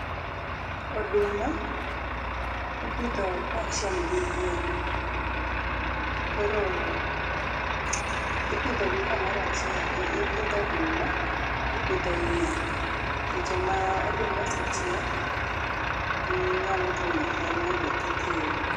Oduma ipidho kachiel gi yien. Koro ipidhogi kamoro achiel ,ipidho oduma, tipidho yien, seche ma oduma no osehiek tinyalo tongo yien no titiyo go